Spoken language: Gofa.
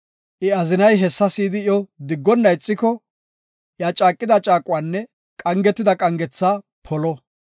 I azinay hessa si7idi iyo diggonna ixiko, iya caaqida caaquwanne qangetida qangetha polo.